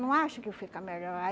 Não acho que fica melhor.